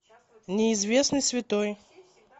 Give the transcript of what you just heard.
неизвестный святой